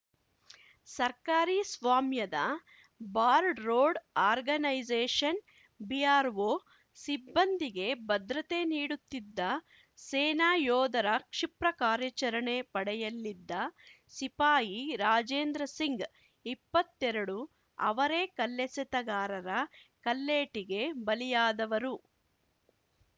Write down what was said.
ಸರ್ಕಾರಿ ಸ್ವಾಮ್ಯದ border road organisation BRO ಸಿಬ್ಬಂದಿಗೆ ಭದ್ರತೆ ನೀಡುತ್ತಿದ್ದ ಸೇನಾ ಯೋಧರ ಕ್ಷಿಪ್ರ ಕಾರ್ಯಾಚರಣೆ ಪಡೆಯಲ್ಲಿದ್ದ ಸಿಪಾಯಿ ರಾಜೇಂದ್ರ ಸಿಂಗ್‌ ಇಪ್ಪತ್ತೆರಡು ಅವರೇ ಕಲ್ಲೆಸೆತಗಾರರ ಕಲ್ಲೇಟಿಗೆ ಬಲಿಯಾದವರು